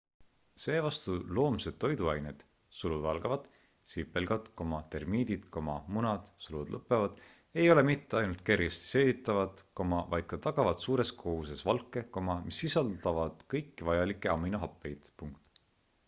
seevastu loomsed toiduained sipelgad termiidid munad ei ole mitte ainult kergesti seeditavad vaid ka tagavad suures koguses valke mis sisaldavad kõiki vajalikke aminohappeid